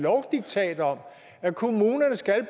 lovdiktat om at kommunerne skal